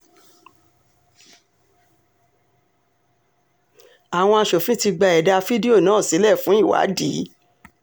àwọn aṣòfin ti gba ẹ̀dà fídíò náà sílẹ̀ fún ìwádìí